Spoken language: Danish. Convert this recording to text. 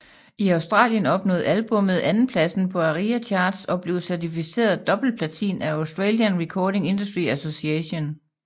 I Australien nåede albummet andenpladsen på ARIA Charts og blev certificeret dobbeltplatin af Australian Recording Industry Association